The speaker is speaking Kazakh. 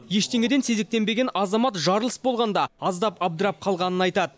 ештеңеден сезіктенбеген азамат жарылыс болғанда аздап абдырап қалғанын айтады